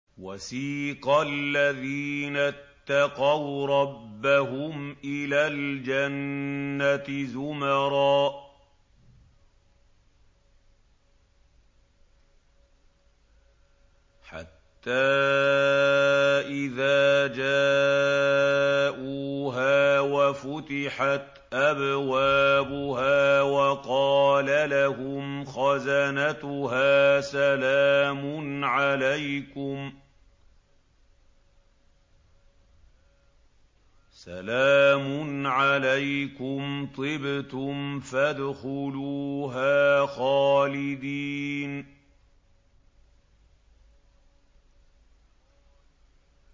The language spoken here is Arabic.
وَسِيقَ الَّذِينَ اتَّقَوْا رَبَّهُمْ إِلَى الْجَنَّةِ زُمَرًا ۖ حَتَّىٰ إِذَا جَاءُوهَا وَفُتِحَتْ أَبْوَابُهَا وَقَالَ لَهُمْ خَزَنَتُهَا سَلَامٌ عَلَيْكُمْ طِبْتُمْ فَادْخُلُوهَا خَالِدِينَ